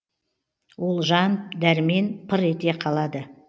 ол жан дәрмен пыр ете қалады